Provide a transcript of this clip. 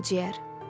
Ağciyər.